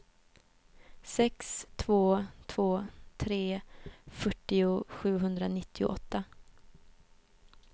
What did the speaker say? sex två två tre fyrtio sjuhundranittioåtta